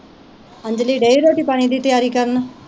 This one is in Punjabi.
ਅੰਜਲੀ ਡਈ ਰੋਟੀ ਪਾਣੀ ਦੀ ਤਿਆਰੀ ਕਰਨ